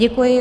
Děkuji.